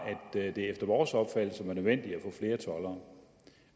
at det efter vores opfattelse var nødvendigt